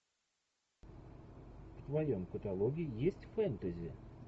в твоем каталоге есть фэнтези